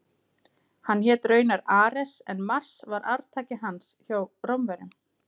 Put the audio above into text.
Hann hét raunar Ares en Mars var arftaki hans hjá Rómverjum.